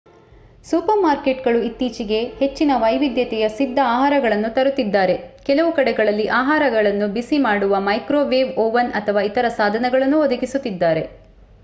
Super ಮಾರ್ಕೇಟ್‌ಗಳು ಇತ್ತೀಚೆಗೆ ಹೆಚ್ಚಿನ ವೈವಿಧ್ಯತೆಯ ಸಿಧ್ದ ಆಹಾರಗಳನ್ನು ತರುತಿದ್ದಾರೆ. ಕೆಲವು ಕಡೆಗಳಲ್ಲಿ ಆಹಾರಗಳನ್ನು ಬಿಸಿ ಮಾಡಲು ಮೈಕ್ರೋವೇವ್ ಓವನ್ ಅಥವಾ ಇತರೇ ಸಾಧನಗಳನ್ನೂ ಒದಗಿಸುತ್ತಿದ್ದಾರೆ